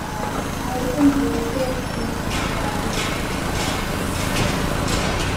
um i dey think say stress fit um lead to physical and mental health problems